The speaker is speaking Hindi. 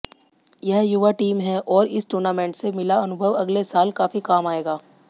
यह युवा टीम है और इस टूर्नामेंट से मिला अनुभव अगले साल काफी काम आयेगा